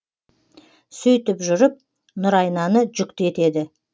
сөйтіп жүріп нұрайнаны жүкті етеді